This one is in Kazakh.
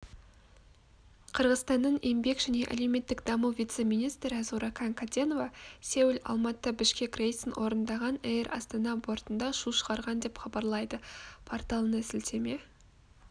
қырғызстанның еңбек және әлеуметтік даму вице-министрі зууракан каденова сеул-алматы бішкек рейсін орындаған эйр астана бортында шу шығарған деп хабарлайды порталына сілтеме